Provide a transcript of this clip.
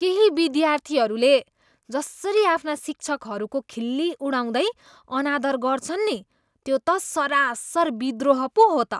केही विद्यार्थीहरूले जसरी आफ्ना शिक्षकहरूको खिल्ली उडाउँदै अनादर गर्छन् नि त्यो त सरासर विद्रोह पो हो त।